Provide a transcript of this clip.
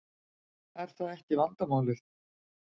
Er það ekki vandamálið?